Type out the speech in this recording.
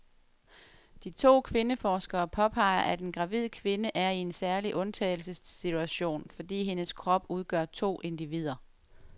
De to kvindeforskere påpeger, at en gravid kvinde er i en særlig undtagelsessituation, fordi hendes krop udgør to individer.